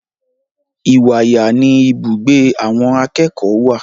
Ìwàyà ni ibùgbé àwọn akẹ́kọ̀ọ́ wà.